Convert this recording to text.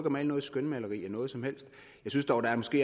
at male et skønmaleri af noget som helst jeg synes dog der måske